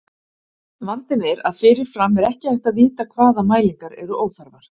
Vandinn er að fyrirfram er ekki hægt að vita hvaða mælingar eru óþarfar.